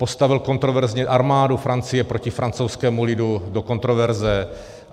Postavil kontroverzně armádu Francie proti francouzskému lidu do kontroverze.